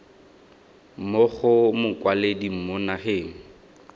mo go mokwaledi mo nageng